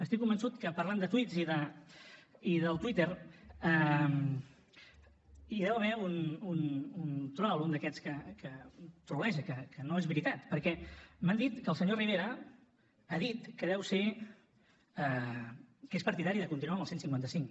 estic convençut que parlant de tuits i del twitter hi deu haver un trol un d’aquests que troleja que no és veritat perquè m’han dit que el senyor rivera ha dit que és partidari de continuar amb el cent i cinquanta cinc